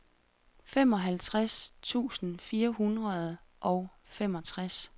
femoghalvtreds tusind fire hundrede og femogtres